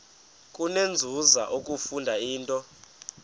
kunenzuzo ukufunda intetho